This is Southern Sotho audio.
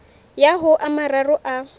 ya ho a mararo a